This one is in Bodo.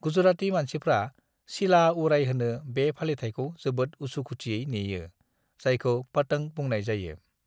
"गुजराती मानसिफ्रा सिला उरायहोनो बे फालिथायखौ जोबोद उसुखुथुयै नेयो, जायखौ 'पतंग' बुंनाय जायो।"